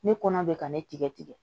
Ne kɔnɔ bɛ ka ne tigɛ tigɛ